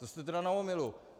To jste tedy na omylu.